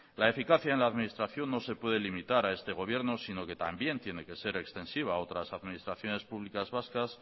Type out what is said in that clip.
la eficacia en la administración no se puede limitar a este gobierno sino que también tiene que ser extensiva otras administraciones públicas vascas